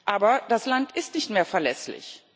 Aber das Land ist nicht mehr verlässlich.